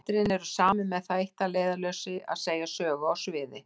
Atriðin eru samin með það eitt að leiðarljósi að segja sögu á sviði.